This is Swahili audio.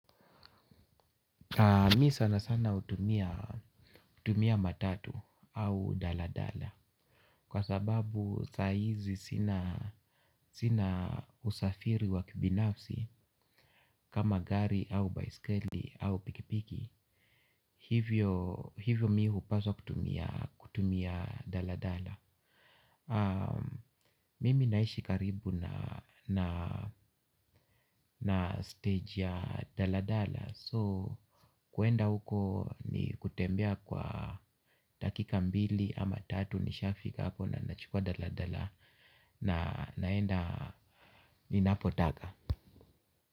Mi sana sana hutumia matatu au daladala kwa sababu saa hizi sina usafiri wa kibinafsi. Kama gari au baiskeli au pikipiki hivyo mimi hupaswa kutumia daladala. Mimi naishi karibu na stage ya daladala So kuenda huko ni kutembea kwa dakika mbili ama tatu nishafika hapo na nachukua daladala na naenda ninapotaka.